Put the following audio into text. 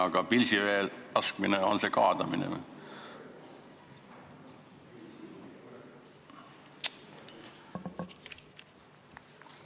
Aga pilsivee laskmine, kas see on kaadamine?